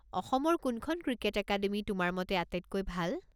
অসমৰ কোনখন cricket academy তোমাৰ মতে আটাইতকৈ ভাল?